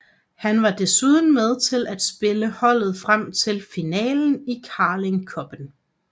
Han var desuden med til at spille holdet frem til finalen i Carling Cuppen